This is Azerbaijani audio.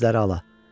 Gözləri ala.